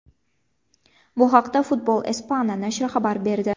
Bu haqda Football Espana nashri xabar berdi.